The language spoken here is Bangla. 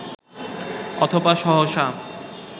অথবা সহসা